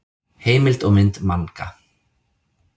Heimild og mynd Manga.